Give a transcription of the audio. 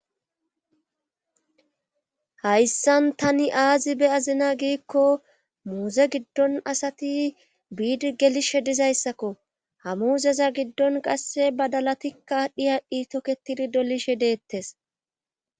Hayssan tani aazi be azina giikko muuze giddon asati biidi gelishe dizayssakko hamuuzeza giddon qasse badalatikka dhiyadhdhi toketidi dolishe deettes.